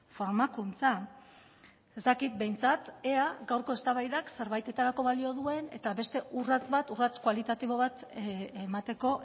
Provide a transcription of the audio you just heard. formakuntza ez dakit behintzat ea gaurko eztabaidak zerbaitetarako balio duen eta beste urrats bat urrats kualitatibo bat emateko